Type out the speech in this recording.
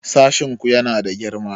Sashin ku yana da girma?